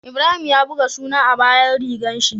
Ibrahim ya buga suna a bayan rigar shi